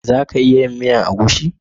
Za ki iya yin miya egusi?